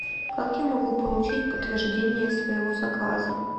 как я могу получить подтверждение своего заказа